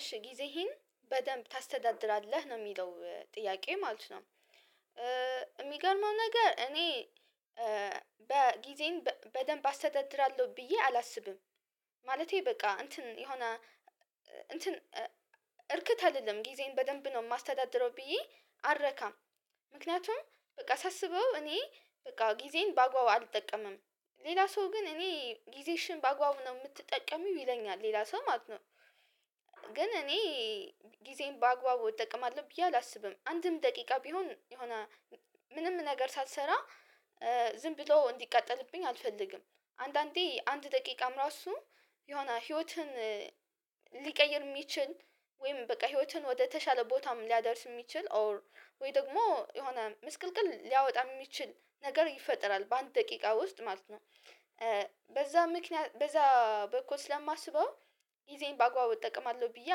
እሺ ጊዜህን በደንብ ታስተዳድራለህ ነው የሚለው ጥያቄ ማለት ነው። የሚገርመው ነገር እኔ በጊዜን በደንብ አስተዳድራለሁ ብዬ አላስብም። ማለቴ በቃ እንትን የሆነ እንትን እርክት አይደለም። ጊዜን በደንብ ነው የማስተዳድረው ብዬ አረካም። ምክንያቱም በቃ ሳስበው እኔ በቃ ጊዜን በአግባቡ አልጠቀምም። ሌላ ሰው ግን እኔ ጊዜሽን በአግባቡ ነው የምትጠቀሚው ይለኛል ሌላ ሰው ማለት ነው። ግን እኔ ጊዜየን በአግባቡ እጠቀማለሁ ብዬ አላስብም። አንድም ደቂቃ ቢሆን የሆነ ምንም ነገር ሳልሰራ ዝም ብሎ እንዲቃጠልብኝ አልፈልግም። አንዳንዴ አንድ ደቂቃም ራሱ የሆነ ህይወትን ሊቀይር የሚችል ወይም በቃ ህይወትን ወደተሻለ ቦታም ሊያደርስ የሚችል ኦር ወይ ደግሞ የሆነ ምስቅልቅል ሊያወጣ የሚችል ነገር ይፈጥራል በአንድ ደቂቃ ውስጥ ማለት ነው። በዛ ምክንያት በዛ በኩል ስለማስበው ጊዜዬን በአግባቡ እጠቀማለሁ ብዬ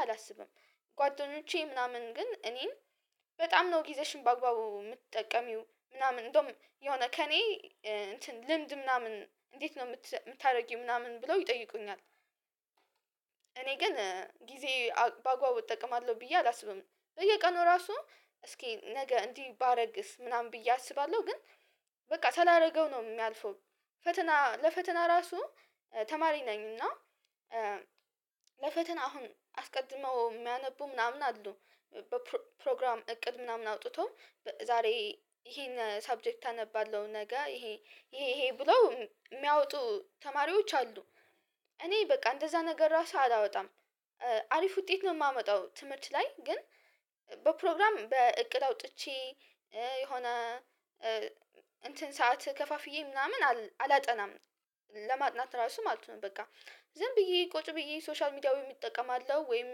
አላስብም። ጓደኞቼ ምናምን ግን እኔን በጣም ነው ጊዜሽን በአግባቡ የምትጠቀሚው ምናምን እንደውም የሆነ ከእኔ እንትን ልምድ ምናምን እንዴት ነው የምታደርጊው ምናምን ብለው ይጠይቁኛል። እኔ ግን ጊዜ ባግባቡ እጠቀማለሁ ብዬ አላስብም። በየቀኑ ራሱ እስኪ ነገ እንዲህ ባረግስ ምናምን ብዬ አስባለሁ ግን በቃ ሳላረገው ነው የሚያልፈው። ፈተና ለፈተና ራሱ ተማሪ ነኝና ለፈተና አሁን አስቀድመው የሚያነቡ ምናምን አሉ። በፕሮግራም እቅድ ምናምን አውጥቶ ዛሬ ይሄን ሰብጀክት አነባለሁ ነገ ይሄ ይሄ ይሄ ብለው የሚያወጡ ተማሪዎች አሉ። እኔ በቃ እንደዛ ነገር ራሱ አላወጣም። አሪፍ ውጤት ነው የማመጣው ትምህርት ላይ ግን። በፕሮግራም በእቅድ አውጥቼ የሆነ እንትን ሰዓት ከፋፍዬ ምናምን አላጠናም። ለማጥናት ራሱ ማለት ነው በቃ ዝም ብዬ ቁጭ ብዬ ሶሻል ሚዲያ ወይ እጠቀማለው ወይም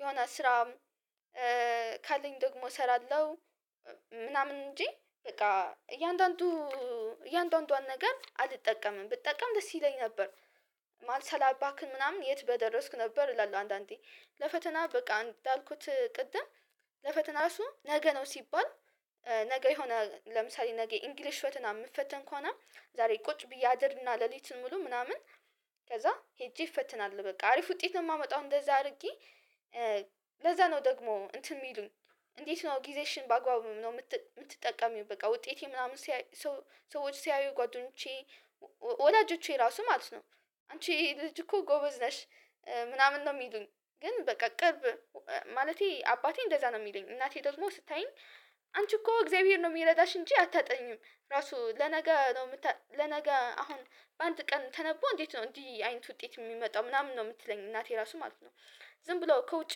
የሆነ ስራ ካለኝ ደግሞ እሰራለሁ። ምናምን እንጂ በቃ እያንዳንዱ እያንዳንዷን ነገር አልጠቀምም ብጠቀም ደስ ይለኝ ነበር። ማለት ሳላባክን ምናምን የት በደረስኩ ነበር እላለሁ። አንዳንዴ ለፈተና በቃ እንዳልኩት ቅድም ለፈተና እሱ ነገ ነው ሲባል። ነገ የሆነ ለምሳሌ ነገ ኢንግሊሽ ፈተና የምትፈተን ከሆነ ዛሬ ቁጭ ብዬ አድርና ሌሊትን ሙሉ ምናምን ከዛ ሄጄ እፈትናለሁ። በቃ አሪፍ ውጤት ነው የማመጣው እንደዛ አድርጌ። ለዛ ነው ደግሞ እንትን የሚሉኝ። እንዴት ነው ጊዜሽን በአግባቡ ነው የምትጠቀሚው በቃ ውጤቴ ምናምን ሰዎች ሲያዩ ጓደኞቼ ወዳጆቼ ራሱ ማለት ነው። አንቺ ልጅ እኮ ጎበዝ ነሽ። ምናምን ነው የሚሉኝ። ግን በቃ ቅርብ ማለቴ አባቴ እንደዛ ነው የሚለኝ እናቴ ደግሞ ስታየኝ አንቺ እኮ እግዚአብሔር ነው የሚረዳሽ እንጂ አታጠኝም። ራሱ ለነገ ነው የምታ ለነገ አሁን በአንድ ቀን ተነቦ እንዴት ነው እንዲህ አይነት ውጤት የሚመጣው ምናምን ነው የምትለኝ እናቴ ራሱ ማለት ነው። ዝም ብሎ ከውጭ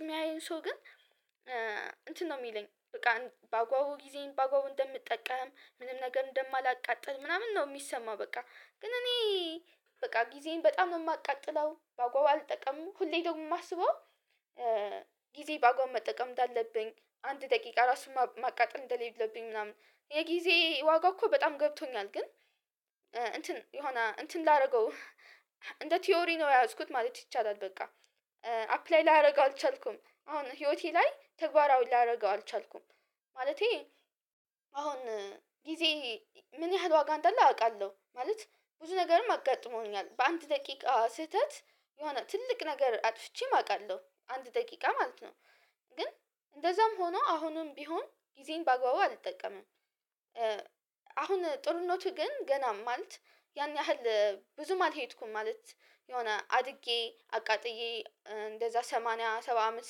የሚያየኝ ሰው ግን። እንትን ነው የሚለኝ በቃ በአግባቡ ጊዜየን ባግባቡ እንደምጠቀም ምንም ነገር እንደማላቃጥል ምናምን ነው የሚሰማው። በቃ ግን እኔ በቃ ጊዜን በጣም ነው የማቃጥለው በአግባቡ አልጠቀምም ሁሌ ደግሞ የማስበው። ጊዜ በአግባብ መጠቀም እንዳለብኝ አንድ ደቂቃ ራሱን ማቃጠል እንደሌለብኝ ምናምን የጊዜ ዋጋ እኮ በጣም ገብቶኛል ግን። እንትን የሆነ እንትን ላደርገው እንደ ቲዮሪ ነው የያዝኩት ማለት ይቻላል በቃ። አፕላይ ላደርገው አልቻልኩም አሁን ህይወቴ ላይ ተግባራዊ ላደርገው አልቻልኩም። ማለቴ አሁን ጊዜ ምን ያህል ዋጋ እንዳለ አውቃለሁ። ማለት ብዙ ነገርም አጋጥሞኛል በአንድ ደቂቃ ስህተት የሆነ ትልቅ ነገር አጥፍቼም አውቃለሁ አንድ ደቂቃ ማለት ነው። ግን እንደዛም ሆኖ አሁንም ቢሆን ጊዜየን በአግባቡ አልጠቀምም። አሁን ጡርነቱ ግን ገና ማለት ያን ያህል ብዙም አልሄድኩም ማለት የሆነ አድጌ አቃጥዬ እንደዛ ሰማንያ ሰባ አመት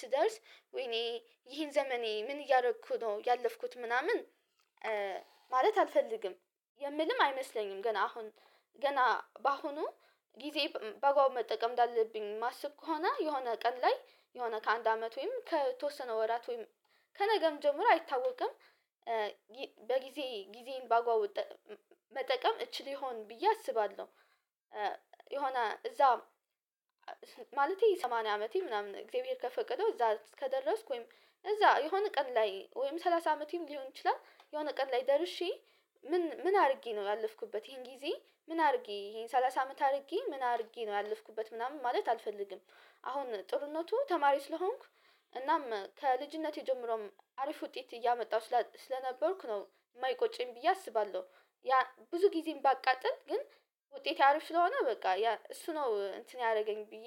ስደርስ ወይኔ ይሄን ዘመኔ ምን እያደረኩ ነው ያለፍኩት ምናምን። ማለት አልፈልግም። የምልም አይመስለኝም ገና አሁን ገና በአሁኑ ጊዜ በአግባቡ መጠቀም እንዳለብኝ ማስብ ከሆነ የሆነ ቀን ላይ የሆነ ከአንድ አመት ወይም ከተወሰነ ወራት ወይም ከነገም ጀምሮ አይታወቅም። በጊዜ ጊዜን ባግባቡ እጠቀ መጠቀም እችል ይሆን ብዬ አስባለሁ። የሆነ እዛ ማለቴ ሰማንያ አመቴ ምናምን እግዚአብሔር ከፈቀደው እዛ ከደረስኩ ወይም እዛ የሆነ ቀን ላይ ወይም ሰላሳ አመቴም ሊሆን ይችላል የሆነ ቀን ላይ ደርሼ። ምን ምን አድርጌ ነው ያለፍኩበት ይሄን ጊዜ ምን አድርጌ ይሄን ሰላሳ አመት አድርጌ ምን አድርጌ ነው ያለፍኩበት ምናምን ማለት አልፈልግም። አሁን ጥሩነቱ ተማሪ ስለሆንኩ እናም ከልጅነቴ ጀምሮም አሪፍ ውጤት እያመጣሁ ስለነበርኩ ነው የማይቆጨኝ ብዬ አስባለሁ። ያ ብዙ ጊዜን ባቃጥል ግን ውጤቴ አሪፍ ስለሆነ በቃ ያ እሱ ነው እንትን ያደረገኝ ብዬ